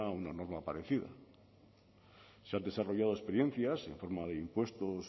una norma parecida se han desarrollado experiencias en forma de impuestos